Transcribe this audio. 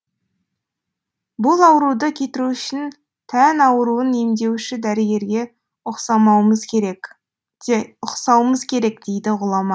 бұл ауруды кетіру үшін тән ауруын емдеуші дәрігерге ұқсауымыз керек дейді ғұлама